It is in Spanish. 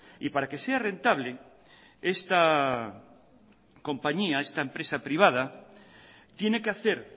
y para que sea rentable esta compañía esta empresa privada tiene que hacer